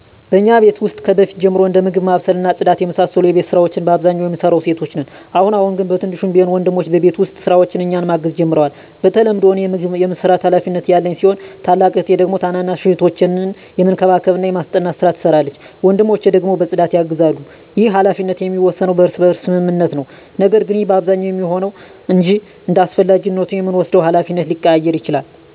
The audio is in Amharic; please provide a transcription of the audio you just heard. በእኛ ቤት ውስጥ ከበፊት ጀምሮ እንደ ምግብ ማብሰል እና ጽዳት የመሳሰሉ የቤት ስራወች በአብዛኛው የምንሰራው ሴቶች ነን። አሁን አሁን ግን በትንሹም ቢሆን ወንድሞቸ በቤት ውስጥ ስራዎች እኛን ማገዝ ጀምረዋል። በተለምዶ እኔ ምግብ የመስራት ሀላፊነት ያለኝ ሲሆን ታላቅ እህቴ ደግሞ ታናናሽ እህቶቻችንን የመንከባከብና የማስጠናት ስራ ትሰራለች። ወንድሞቸ ደግሞ በፅዳት ያግዛሉ። ይህ ሀላፊነት የሚወሰነው በእርስ በርስ ስምምነት ነው። ነገር ግን ይህ በአብዛኛው የሚሆነው ነው እንጅ እንዳስፈላጊነቱ የምንወስደው ሀላፊነት ሊቀያየር ይችላል።